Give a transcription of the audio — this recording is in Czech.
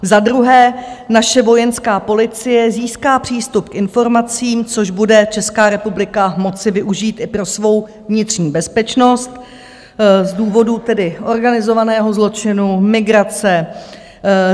Za druhé, naše vojenská policie získá přístup k informacím, což bude Česká republika moci využít i pro svou vnitřní bezpečnost z důvodu tedy organizovaného zločinu, migrace.